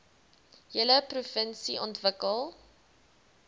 hele provinsie ontwikkel